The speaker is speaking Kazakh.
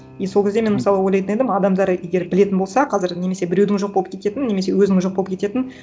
и сол кезде мен мысалы ойлайтын едім адамдар егер білетін болса қазір немесе біреудің жоқ болып кететінін немесе өзінің жоқ болып кететінін